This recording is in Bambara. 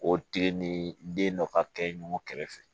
O tile ni den dɔ ka kɛ ɲɔgɔn kɛrɛfɛ